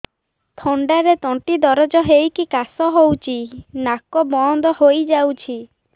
ଥଣ୍ଡାରେ ତଣ୍ଟି ଦରଜ ହେଇକି କାଶ ହଉଚି ନାକ ବନ୍ଦ ହୋଇଯାଉଛି